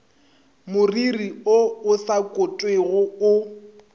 moriri o sa kotwego o